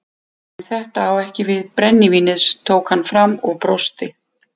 En þetta á ekki við brennivínið tók hann fram og brosti.